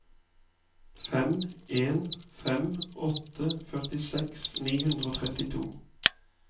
fem en fem åtte førtiseks ni hundre og trettito